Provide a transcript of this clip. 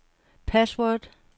password